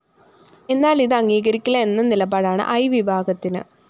എന്നാല്‍ ഇത് അംഗീകരിക്കില്ല എന്ന നിലപാടാണ് ഐവിഭാഗത്തിന്